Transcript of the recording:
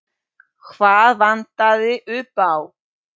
Hvað vantaði upp á?